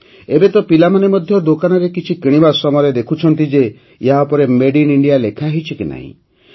ଏବେ ତ ପିଲାମାନେ ମଧ୍ୟ ଦୋକାନରେ କିଛି କିଣିବା ସମୟରେ ଦେଖୁଛନ୍ତି ଯେ ଏହା ଉପରେ ମେଡ୍ ଇନ୍ ଇଣ୍ଡିଆ ଲେଖା ହୋଇଛି କି ନାହିଁ